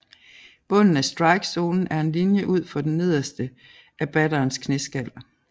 Bunden af strikezonen er en linje ud for det nederste af batterens knæskal